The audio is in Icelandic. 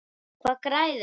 Hvað græðir maður?